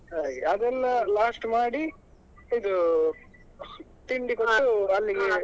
ಹಾಗೆ ಅದೆಲ್ಲಾ last ಮಾಡಿ ಇದು ತಿಂಡಿ ಕೊಟ್ಟು .